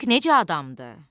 Bəlk nəcə adamdır?